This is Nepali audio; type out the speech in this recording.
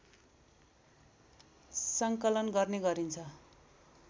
सङ्कलन गर्ने गरिन्छ